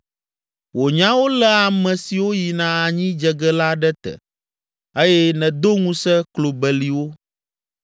Wò nyawo lé ame siwo yina anyi dze ge la ɖe te eye nèdo ŋusẽ klo beliwo.